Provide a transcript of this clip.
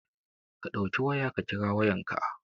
Ka ɗauki waya ka kira Yayanka